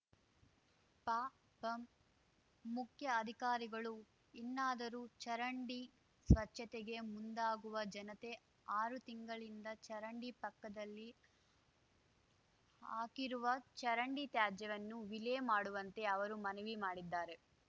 ಪಪಂ ಮುಖ್ಯಾ ಅಧಿಕಾರಿಗಳು ಇನ್ನಾದರೂ ಚರಂಡಿ ಸ್ವಚ್ಚತೆಗೆ ಮುಂದಾಗುವ ಜನತೆ ಆರು ತಿಂಗಳಿಂದ ಚರಂಡಿ ಪಕ್ಕದಲ್ಲಿ ಹಾಕಿರುವ ಚರಂಡಿ ತ್ಯಾಜ್ಯವನ್ನು ವಿಲೆ ಮಾಡುವಂತೆ ಅವರು ಮನವಿ ಮಾಡಿದ್ದಾರೆ